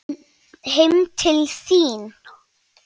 Heim til þín?